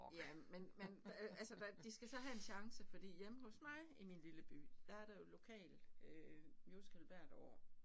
Ja men men øh altså hvad de skal så have en chance fordi hjemme hos mig i min lille by der er der jo lokalmusical hvert år